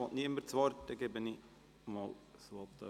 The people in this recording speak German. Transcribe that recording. Wünscht niemand das Wort?